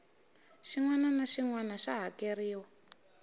xinwana naxinwana xa hakerhiwa